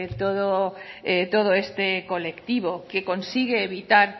todo este colectivo que consigue evitar